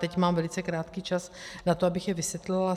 Teď mám velice krátký čas na to, abych je vysvětlila.